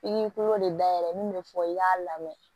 I k'i kolo de dayɛlɛ min bɛ fɔ i k'a lamɛn